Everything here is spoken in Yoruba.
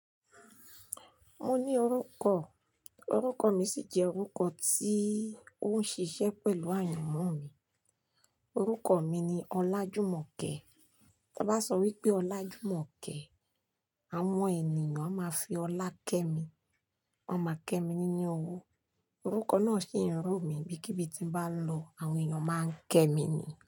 Mo ní orúkọ, orúkọ mi sì jẹ́ orúkọ tí ó ń ṣiṣẹ́ pẹ̀lú àyànmọ́ mi. Orúkọ mi ni Ọlájùmọ̀kẹ́. Tí a bá sọ wípé Ọlájùmọ̀kẹ́, àwọn ènìyàn a máa fi ọlá kẹ́ mi. Wọ́n máa kẹ́ mi nínú owó. Orúkọ náà sì ń rù mí, bí kíbi tí mo bá lọ, àwọn èyàn máa ń kẹ́ mi ni.